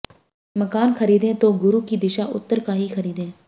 मकान खरीदें तो गुरु की दिशा उत्तर का ही खरीदे